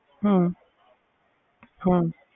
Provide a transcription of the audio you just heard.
ਹਾਂ